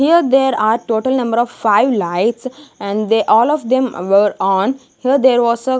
here there are total number of five lights and they all of them were on here there was a.